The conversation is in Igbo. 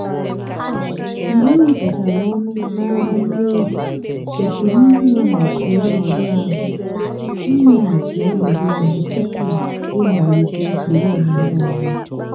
mgbe e wepụchara ọnụ n'ara nne ewu kwesịrị inweghachi ọnọdụ ahụ inweghachi ọnọdụ ahụ tupu ịmalite usoro ọmụmụ ọzọ.